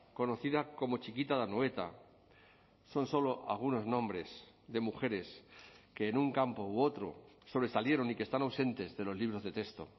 conocida como txikita de anoeta son solo algunos nombres de mujeres que en un campo u otro sobresalieron y que están ausentes de los libros de texto